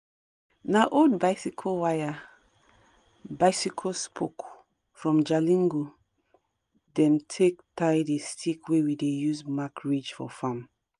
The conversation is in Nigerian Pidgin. na old bicycle wire(bicycle spoke)from jalingo dem take tie the stick wey we dey use mark ridge for farm